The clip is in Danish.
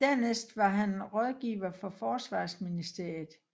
Dernæst var han rådgiver for forsvarsministeriet